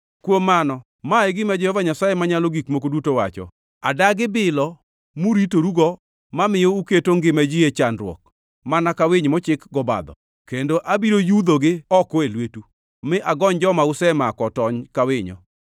“ ‘Kuom mano, ma e gima Jehova Nyasaye Manyalo Gik Moko Duto wacho: Adagi bilo muritorugo mamiyo uketo ngima ji e chandruok mana ka winy mochik gobadho, kendo abiro yudhogi oko e lwetu, mi agony joma usemako otony ka winyo.